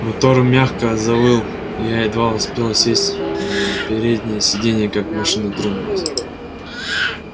мотор мягко завыл я едва успел сесть на переднее сиденье как машина тронулась